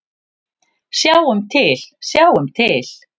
Sjáum til, sjáum til.